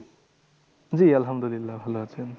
জি আলহামদুল্লিয়াহ ভালো আছেন।